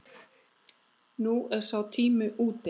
Nú er sá tími úti.